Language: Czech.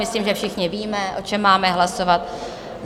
Myslím, že všichni víme, o čem máme hlasovat.